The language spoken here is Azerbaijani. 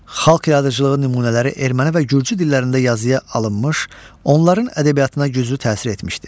Xalq yaradıcılığı nümunələri erməni və gürcü dillərində yazıya alınmış, onların ədəbiyyatına güclü təsir etmişdir.